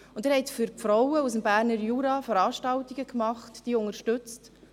Sie haben für die Frauen aus dem Berner Jura Veranstaltungen durchgeführt und diese unterstützt.